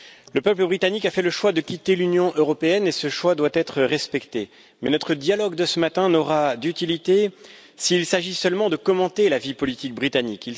Le peuple britannique a fait le choix de quitter l'Union européenne et ce choix doit être respecté, mais notre dialogue de ce matin n'aura aucune utilité s'il s'agit seulement de commenter la vie politique britannique.